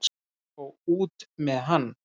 Og út með hann!